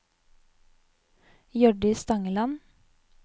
Hjørdis Stangeland